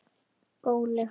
Góni á hana.